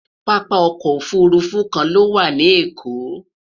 pápá ọkọ̀ òfurufú kàn ló wà nì Èkó